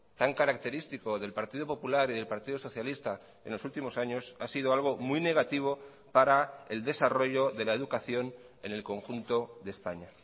tan característico del partido popular y del partido socialista en los últimos años ha sido algo muy negativo para el desarrollo de la educación en el conjunto de españa